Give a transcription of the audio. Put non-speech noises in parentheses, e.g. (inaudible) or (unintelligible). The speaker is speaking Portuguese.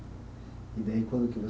E daí, quando que (unintelligible)